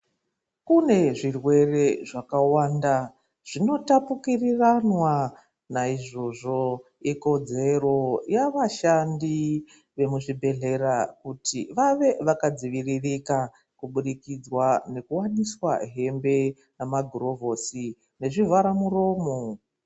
Kune zvirwere zvakawanda zvinotapukiriranwa ,naizvozvo ikodzero yavashandi vemuzvibhedhlera kuti vave vakadziviririka kuburikidzwa ngekuwaniswa hembe nemagirovhosi nezvivhara muromo.